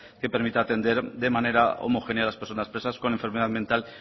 que permita atender de manera homogénea a las personas presas con enfermedad mental